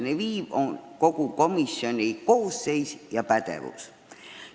Ma loodan, et me arutame seda ja leiame õige lahenduse.